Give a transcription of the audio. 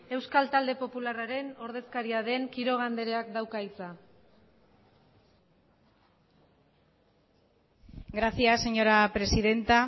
euskal talde popularraren ordezkaria den quiroga andreak dauka hitza gracias señora presidenta